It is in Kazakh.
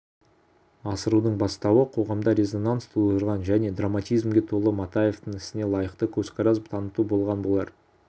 асырудың бастауы қоғамда резонанс тудырған және драматизмге толы матаевтің ісіне лайықты көзқарас таныту болған болар